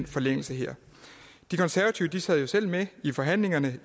forlængelse de konservative sad jo selv med i forhandlingerne